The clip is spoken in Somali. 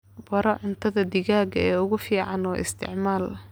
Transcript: Baro cuntada digaaga ee ugu fiican oo isticmaal